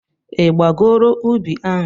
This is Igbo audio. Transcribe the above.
Ị gbagoro ubi ahụ?